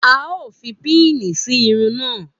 A ó fi pini sí irun náà